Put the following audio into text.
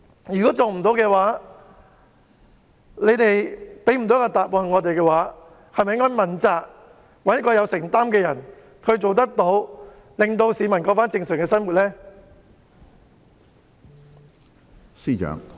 如果政府未能辦到，未能給市民答覆，是否應該問責，找一位有承擔的人來做，讓市民可以重過正常生活？